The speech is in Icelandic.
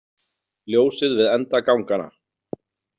Ljósið við enda ganganna.